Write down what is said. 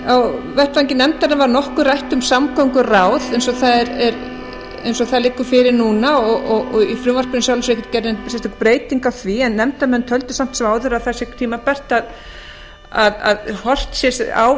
á vettvangi nefndarinnar var nokkuð rætt um samgönguráð eins og það liggur fyrir núna og í frumvarpinu er í sjálfu sér ekki gerð nein breytingu á því en nefndarmenn töldu samt sem áður að það sé tímabært að horft sé á